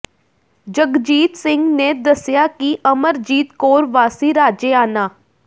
ਜੰਗਜੀਤ ਸਿੰਘ ਨੇ ਦੱਸਿਆ ਕਿ ਅਮਰਜੀਤ ਕੌਰ ਵਾਸੀ ਰਾਜੇਆਣਾ